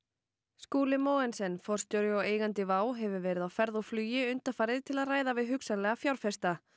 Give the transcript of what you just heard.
Skúli Mogensen forstjóri og eigandi hefur verið á ferð og flugi undanfarið til að ræða við hugsanlega fjárfesta